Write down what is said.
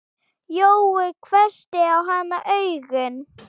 Jói hvessti á hana augun.